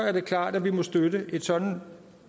er det klart at vi må støtte et sådant